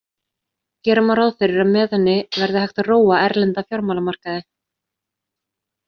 Gera má ráð fyrir að með henni verði hægt að róa erlenda fjármálamarkaði.